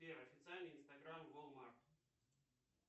сбер официальный инстаграм волмарт